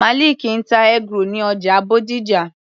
Maliki ń ta eggroll ní ọjà Bódìjà.